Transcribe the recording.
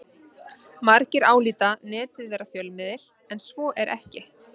Margir álíta Netið vera fjölmiðil en svo er ekki.